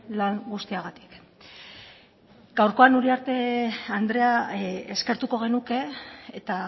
lan guztiagatik gaurkoan uriarte andrea eskertuko genuke eta